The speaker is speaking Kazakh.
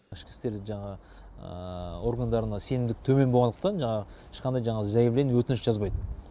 ішкі істер жаңағы органдарына сенімдік төмен болғандықтан жаңағы ешқандай жаңағы заявление өтініш жазбайды